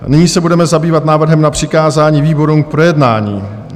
Nyní se budeme zabývat návrhem na přikázání výborům k projednání.